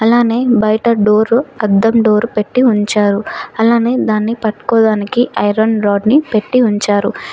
అలానే బయట డోరు అద్దం డోర్ పెట్టి ఉంచారు అలానే దాన్ని పట్టుకోడానికి ఐరన్ రాడ్ని పెట్టి ఉంచారు.